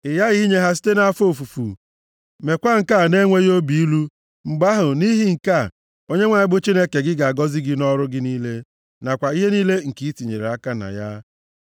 Ị ghaghị inye ha site nʼafọ ofufu, meekwa nke a na-enweghị obi ilu, mgbe ahụ, nʼihi nke a, Onyenwe anyị bụ Chineke gị ga-agọzi gị nʼọrụ gị niile nakwa ihe niile nke ị tinyere aka na ya.